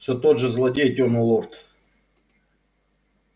всё тот же злодей тёмный лорд